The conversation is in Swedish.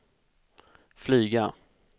flyga